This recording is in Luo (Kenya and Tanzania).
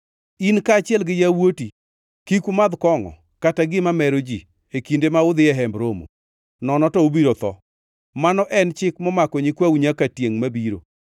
In kaachiel gi yawuoti kik umadh kongʼo kata gima mero ji e kinde ma udhi e Hemb Romo, nono to ubiro tho. Mano en chik momako nyikwau nyaka tiengʼ mabiro.